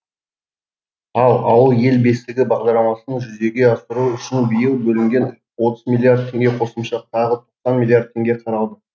ал ауыл ел бесігі бағдарламасын жүзеге асыру үшін биыл бөлінген отыз миллиард теңге қосымша тағы тоқсан миллиард теңге қаралды